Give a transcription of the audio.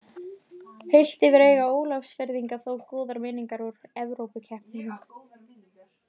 Heilt yfir eiga Ólafsfirðingar þó góðar minningar úr Evrópukeppnunum.